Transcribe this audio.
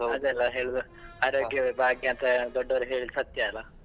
ಅಲ್ಲ ಹೇಳುದು ಆರೋಗ್ಯವೇ ಭಾಗ್ಯ ಅಂತ ದೊಡ್ಡವರು ಹೇಳುದು ಸತ್ಯ ಅಲಾ.